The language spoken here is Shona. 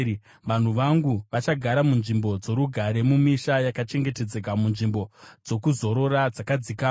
Vanhu vangu vachagara munzvimbo dzorugare, mumisha yakachengetedzeka, munzvimbo dzokuzorora dzakadzikama.